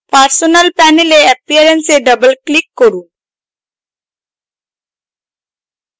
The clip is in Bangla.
personal panel appearance এ double click করুন